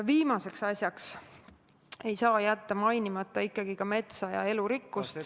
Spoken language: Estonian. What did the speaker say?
Viimase asjana ei saa jätta mainimata ka metsa ja elurikkust ...